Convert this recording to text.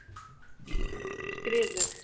Skriðu